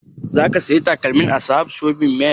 Za ka saya takalmin a sahad shopping mall?